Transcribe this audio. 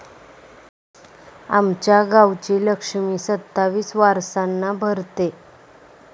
आमच्या गावची लक्ष्मी सत्तावीस वारसांना भरते...